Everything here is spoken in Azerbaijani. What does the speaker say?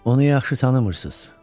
Onu yaxşı tanımırsınız.